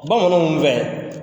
Bamananw fɛ,